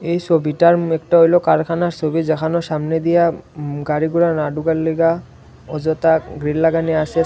এই ছবিটার মুখটা হইল কারখানার ছবি যেখানো সামনে দিয়া গাড়িগুলা না ঢুকার লইগা অযথা গ্রিল লাগানি আসেস।